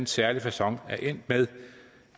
særlig facon er endt med